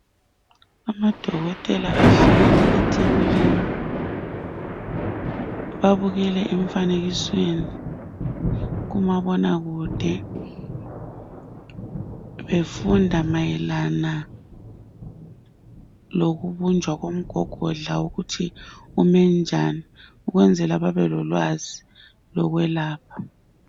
Amadokotela ahleli ethebulini babukele emfanekisweni kumabonakude befunda mayelana lokubunjwa komgogodla ukuthi umenjani ukwenzela babelolwazi lwekwelapha.